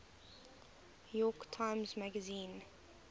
york times magazine